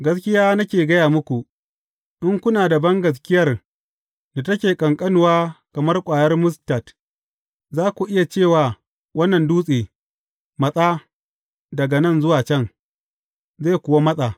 Gaskiya nake gaya muku, in kuna da bangaskiyar da take ƙanƙanuwa kamar ƙwayar mustad, za ku iya ce wa wannan dutse, Matsa daga nan zuwa can,’ zai kuwa matsa.